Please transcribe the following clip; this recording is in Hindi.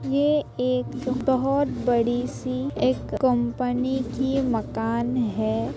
ये एक बोहत बड़ी सी एक कंपनी की मकान है।